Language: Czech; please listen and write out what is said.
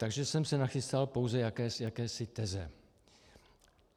Takže jsem si nachystal pouze jakési teze.